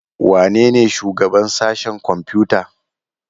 Wanene shugaban sashen kwamfuta?